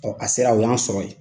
a sera u y'an sɔrɔ yen.